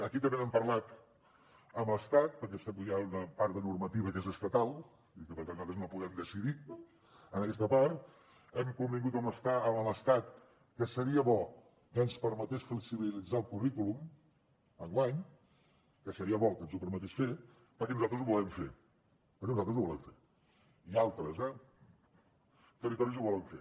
aquí també n’hem parlat amb l’estat perquè hi ha una part de normativa que és estatal i per tant nosaltres no podem decidir en aquesta part hem convingut amb l’estat que seria bo que ens permetés flexibilitzar el currículum enguany que seria bo que ens ho permetés fer perquè nosaltres ho volem fer perquè nosaltres ho volem fer i altres eh territoris ho volen fer